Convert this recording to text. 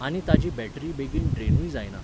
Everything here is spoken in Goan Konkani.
आनी ताची बॅटरी बेगीन ड्रेनूय जायना.